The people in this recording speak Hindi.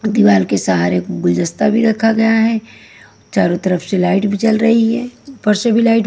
दीवार के सहारे गुलजस्ता भी रखा गया है चारों तरफ से लाइट भी जल रही है ऊपर से भी लाइट --